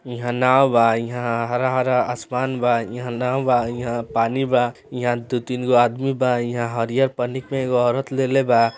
हिया नाव बा हिया हरा-हरा आसमान बा हिया नाव बा हिया पानी बा हिया दु तीन गो आदमी बा हिया हरिहर पन्नी मे एगो औरत ले ले बा।